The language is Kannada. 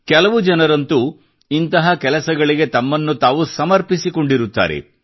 ಕೆಲವು ಜನರಂತೂ ಇಂತಹ ಕೆಲಸಗಳಿಗೆ ತಮ್ಮನ್ನು ತಾವು ಸಮರ್ಪಿಸಿಕೊಂಡಿರುತ್ತಾರೆ